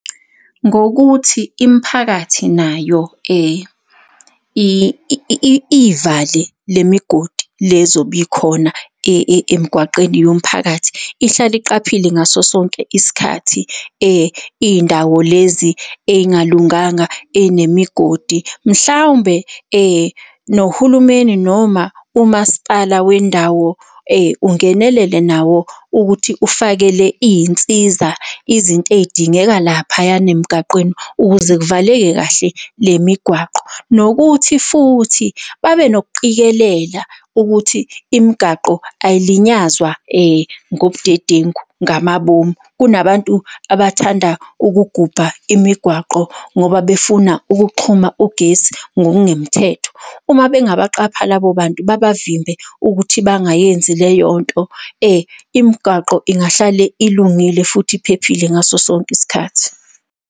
Ngokuthi imiphakathi nayo iy'vale le migodi le zobe ikhona emgwaqeni yomphakathi, ihlale iqaphile ngaso sonke isikhathi iy'ndawo lezi ey'ngalunganga, ey'nemigodi mhlawumbe nohulumeni noma umasipala wendawo ungenelele nawo ukuthi ufakele iy'nsiza izinto ey'dingeka laphayana emgwaqeni ukuze kuvaleke kahle le migwaqo. Nokuthi futhi, babe nokuqikelela ukuthi imigaqo ay'linyazwa ngobudedengu ngamabomu. Kunabantu abathanda ukugubha imigwaqo ngoba befuna ukuxhuma ugesi ngokungemthetho, uma bengabaqapha labo bantu babavimbe ukuthi bangayenzi leyo nto, imigwaqo ingahlale ilungile futhi iphephile ngaso sonke isikhathi.